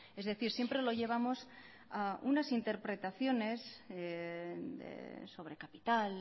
es decir siempre lo llevamos a unas interpretaciones sobre capital